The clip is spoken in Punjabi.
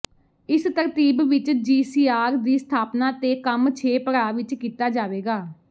ਇਸ ਤਰਤੀਬ ਵਿੱਚ ਜੀਸੀਆਰ ਦੀ ਸਥਾਪਨਾ ਤੇ ਕੰਮ ਛੇ ਪੜਾਅ ਵਿੱਚ ਕੀਤਾ ਜਾਵੇਗਾ